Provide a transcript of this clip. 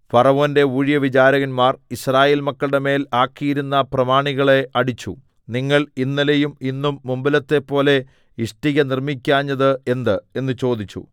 ഫറവോന്റെ ഊഴിയവിചാരകന്മാർ യിസ്രായേൽ മക്കളുടെമേൽ ആക്കിയിരുന്ന പ്രമാണികളെ അടിച്ചു നിങ്ങൾ ഇന്നലെയും ഇന്നും മുമ്പിലത്തെപ്പോലെ ഇഷ്ടിക നിർമ്മിക്കാഞ്ഞത് എന്ത് എന്ന് ചോദിച്ചു